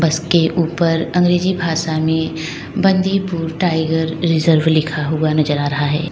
इसके ऊपर अंग्रेजी भाषा में बंदीपुर टाइगर रिजर्व लिखा हुआ नजर आ रहा है।